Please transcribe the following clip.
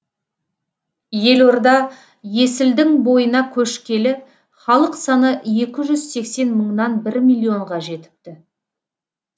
елорда есілдің бойына көшкелі халық саны екі жүз сексен мыңнан бір миллионға жетіпті